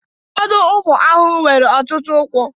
ụfọdụ ụmụ ahụhụ nwere ọtụtụ ụkwụ